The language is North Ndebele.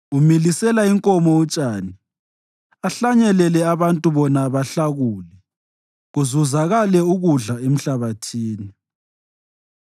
Umilisela inkomo utshani, ahlanyelele abantu bona bahlakule kuzuzakale ukudla emhlabathini: